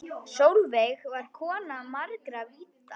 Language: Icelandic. Sólveig var kona margra vídda.